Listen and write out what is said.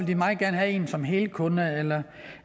de meget gerne have en som helkunde